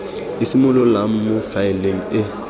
e simololang mo faeleng e